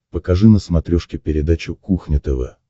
покажи на смотрешке передачу кухня тв